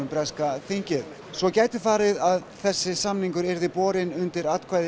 breska þingið svo gæti farið að samningurinn yrði borinn undir atkvæði